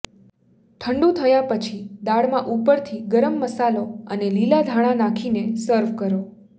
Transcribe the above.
ઠંડુ થયા પછી દાળમાં ઉપરથી ગરમ મસાલો અને લીલા ધાણા નાખીને સર્વ કરો